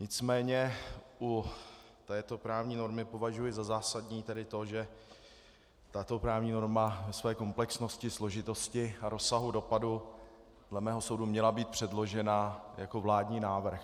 Nicméně u této právní normy považuji za zásadní tedy to, že tato právní norma ve své komplexnosti, složitosti a rozsahu dopadu dle mého soudu měla být předložena jako vládní návrh.